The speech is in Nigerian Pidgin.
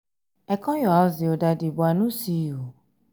i come your house the other day but i no see you